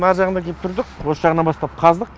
ар жағынан кеп тұрдық осы жағынан бастап қаздық